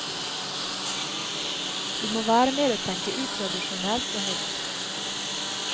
Vi må være med og tenke utradisjonelt og nytt.